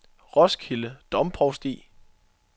Roskilde Domprovsti